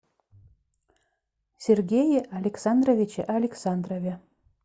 сергее александровиче александрове